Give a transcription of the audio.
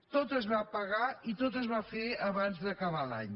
tot es va pagar i tot es va fer abans d’acabar l’any